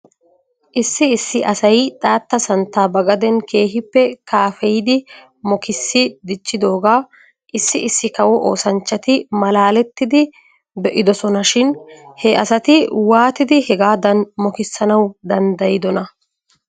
Issi issi asay xaatta santtaa ba gaden keehippe kaafeyidi mokissi dichchidoogaa issi issi kawo oosanchchati malaalettidi be'idosona shin he asati waatidi hegaadan mokissanaw danddayidonaa?